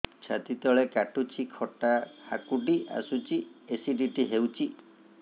ଛାତି ତଳେ କାଟୁଚି ଖଟା ହାକୁଟି ଆସୁଚି ଏସିଡିଟି ହେଇଚି